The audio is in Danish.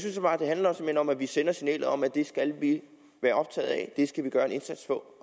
at det bare handler om at vi sender signalet om at det skal vi være optaget af og det skal vi gøre en indsats for